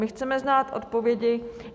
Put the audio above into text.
My chceme znát odpovědi.